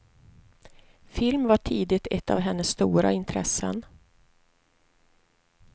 Film var tidigt ett av hennes stora intressen.